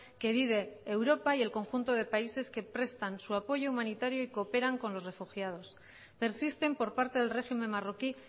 que vive europa y el conjunto de países que prestan su apoyo humanitario y cooperan con los refugiados persisten por parte del régimen marroquí